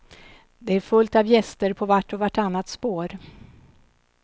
Det är fullt av gäster på vart och vartannat spår.